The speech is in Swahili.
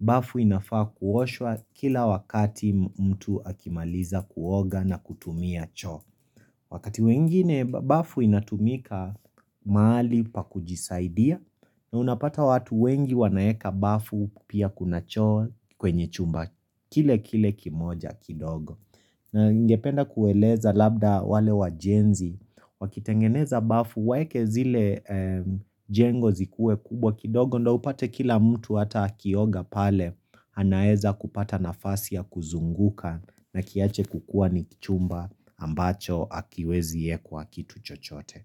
Bafu inafaa kuoshwa kila wakati mtu akimaliza kuoga na kutumia cho Wakati mwingine bafu inatumika mahali pa kujisaidia na unapata watu wengi wanaeka bafu pia kuna choo kwenye chumba kile kile kimoja kidogo na ningependa kueleza labda wale wajenzi Wakitengeneza bafu waweke zile jengo zikuwe kubwa kidogo ndo upate kila mtu hata akioga pale, anaeza kupata nafasi ya kuzunguka na kiache kukua ni kichumba ambacho hakiwezi ekwa kitu chochote.